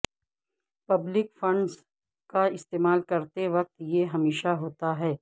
public funds کا استعمال کرتے وقت یہ ہمیشہ ہوتا ہے